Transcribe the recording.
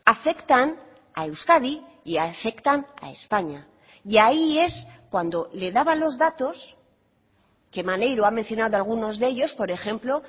afectan a euskadi y afectan a españa y ahí es cuando le daban los datos que maneiro ha mencionado algunos de ellos por ejemplo